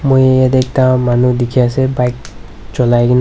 moi yaate ekta manu dekhi ase bike cho lai kin--